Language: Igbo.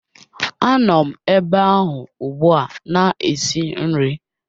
Anom ebe ahụ ugbua na-esi nri